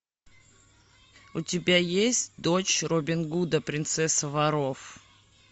у тебя есть дочь робин гуда принцесса воров